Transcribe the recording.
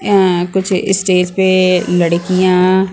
ए कुछ स्टेज पे लड़कियाँ --